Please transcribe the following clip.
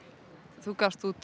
þú gafst út